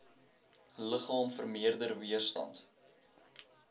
liggaam vermeerder weerstand